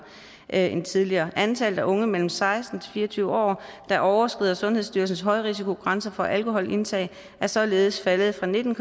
end tidligere antallet af unge mellem seksten og fire og tyve år der overskrider sundhedsstyrelsens højrisikogrænser for alkoholindtag er således faldet fra nitten